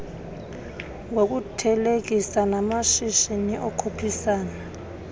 ngokuthelekisa namashishi okhuphisana